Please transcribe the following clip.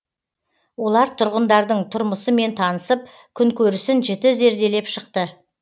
олар тұрғындардың тұрмысымен танысып күнкөрісін жіті зерделеп шықты